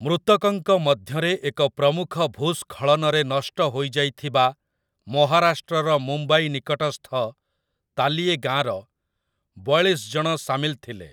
ମୃତକଙ୍କ ମଧ୍ୟରେ ଏକ ପ୍ରମୁଖ ଭୂସ୍ଖଳନରେ ନଷ୍ଟ ହୋଇଯାଇଥିବା ମହାରାଷ୍ଟ୍ରର ମୁମ୍ବାଇ ନିକଟସ୍ଥ ତାଲିୟେ ଗାଁର ବୟାଳିଶ ଜଣ ସାମିଲ ଥିଲେ ।